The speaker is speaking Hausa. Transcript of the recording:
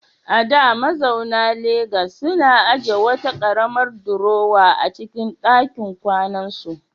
A da, mazauna Legas suna ajiye wata karamar durowa a cikin dakin kwanansu.